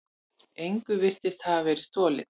Engu virtist hafa verið stolið.